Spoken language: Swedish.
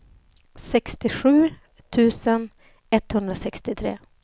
sextiosju tusen etthundrasextiotre